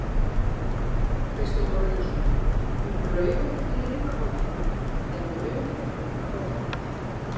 Kristján Már Unnarsson: Mun Raufarhöfn lifa áfram eða mun hér halda áfram?